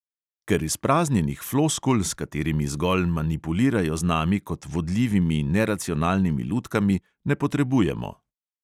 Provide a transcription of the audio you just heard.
Ker izpraznjenih floskul, s katerimi zgolj manipulirajo z nami kot vodljivimi neracionalnimi lutkami, ne potrebujemo.